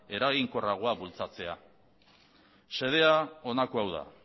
eraginkorragoa bultzatzea xedea honako hau da